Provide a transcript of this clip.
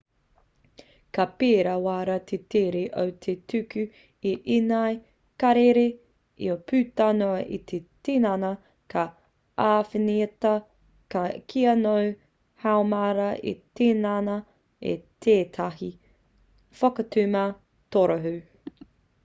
ka pērā rawa te tere o te tuku i ēnei karere io puta noa i te tinana ka āwhinatia kia noho haumaru te tinana i tētahi whakatuma torohū